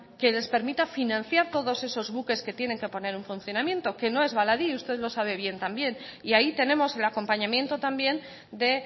que les permita financiar todos esos buques que tienen que poner en funcionamiento que no es baladí y usted lo sabe bien también y ahí tenemos el acompañamiento también de